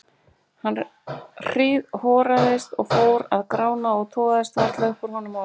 Hann hríðhoraðist og fór að grána og togaðist varla upp úr honum orð.